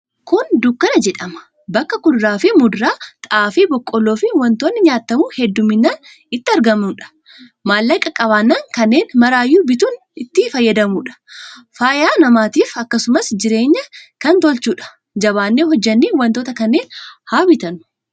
Kuni dukkana jedhama. Bakka kuduraa, muduraa, xaafii, boqqolloo fi wantoonni nyaatamu heddumminaan itti argamuudha. Maallaqa qabaannan kannen maraayyu bituun itti fayyadamuudha. Fayyaa namaatif akkasumas jireenya kan tolchuudha. Jabaanne hojjannee wantoota kanneen haa bitannuu.